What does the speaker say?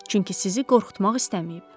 Çünki sizi qorxutmaq istəməyib.